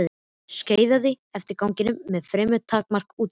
Skeiðaði eftir ganginum með fremur takmarkað útsýni.